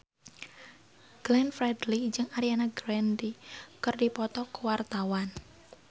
Glenn Fredly jeung Ariana Grande keur dipoto ku wartawan